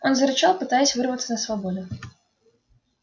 он зарычал пытаясь вырваться на свободу